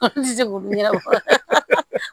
ɲɛnabɔ